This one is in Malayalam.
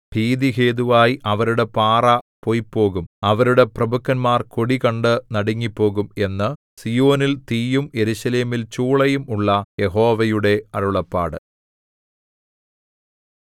ഭീതിഹേതുവായി അവരുടെ പാറ പൊയ്പോകും അവരുടെ പ്രഭുക്കന്മാർ കൊടി കണ്ടു നടുങ്ങിപ്പോകും എന്നു സീയോനിൽ തീയും യെരൂശലേമിൽ ചൂളയും ഉള്ള യഹോവയുടെ അരുളപ്പാട്